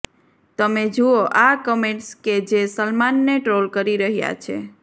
તમે જુઓ આ કમેન્ટ્સ કે જે સલમાનને ટ્રોલ કરી રહ્યા છે